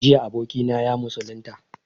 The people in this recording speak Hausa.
Jiya abokina ya musulunta